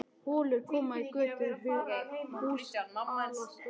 Holur koma í götur, hús hallast og riða.